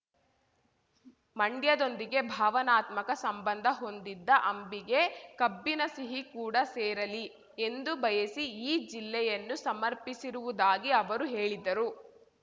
ಮಂಡ್ಯದೊಂದಿಗೆ ಭಾವನಾತ್ಮಕ ಸಂಬಂಧ ಹೊಂದಿದ್ದ ಅಂಬಿಗೆ ಕಬ್ಬಿನ ಸಿಹಿ ಕೂಡ ಸೇರಲಿ ಎಂದು ಬಯಸಿ ಈ ಜಲ್ಲೆಯನ್ನು ಸಮರ್ಪಿಸಿರುವುದಾಗಿ ಅವರು ಹೇಳಿದರು